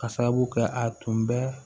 Ka sababu kɛ a tun bɛ